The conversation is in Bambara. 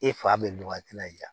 E fa bɛ nɔgɔya tina